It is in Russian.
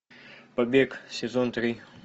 побег сезон три